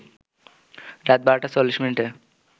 রাত ১২ টা ৪০ মিনিটে